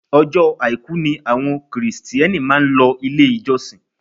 Ọjọ́ àìkú ni àwọn kìrìtíẹ́nì máa ń lọ ilé ìjọsìn